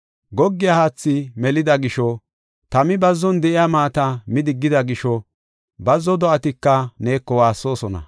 Goggiya haathi melida gisho, tami bazzon de7iya maata midigida gisho, bazzo do7atika neeko waassoosona.